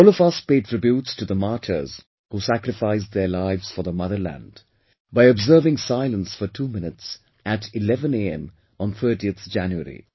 All of us pay tributes to the martyrs who sacrificed their lives for the motherland, by observing silence for 2 minutes at 11 am on 30th January